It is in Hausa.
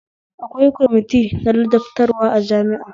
Akwai kwamiti na ladabtarwa a jami'a